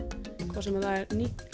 hvort sem það er